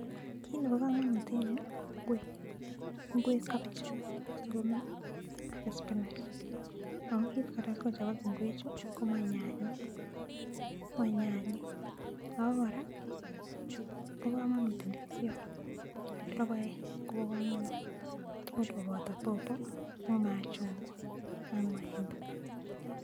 Kiit nebo kamanut eng yu ko ingwek, ingwek kabichek ak sukuma ak spinach ako kiit kora sikochobok ingwechu komae nyanyek ako kora kobo kamanut ndisiot ak logoek kobo kamanut, tugul koboto pawpaw ak machungwa ak maembe.